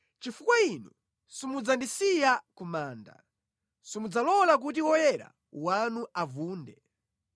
chifukwa Inu simudzandisiya ku manda, simudzalola kuti woyera wanu avunde.